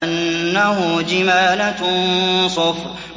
كَأَنَّهُ جِمَالَتٌ صُفْرٌ